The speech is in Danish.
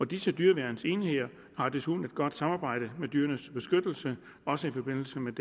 disse dyreværnsenheder har desuden et godt samarbejde med dyrenes beskyttelse også i forbindelse med